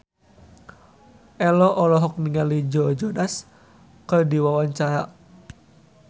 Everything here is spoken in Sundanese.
Ello olohok ningali Joe Jonas keur diwawancara